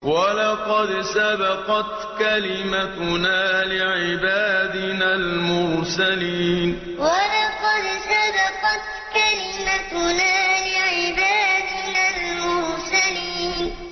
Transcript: وَلَقَدْ سَبَقَتْ كَلِمَتُنَا لِعِبَادِنَا الْمُرْسَلِينَ وَلَقَدْ سَبَقَتْ كَلِمَتُنَا لِعِبَادِنَا الْمُرْسَلِينَ